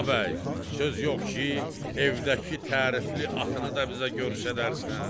A bəy, söz yox ki, evdəki tərifli atını da bizə göstərərsən.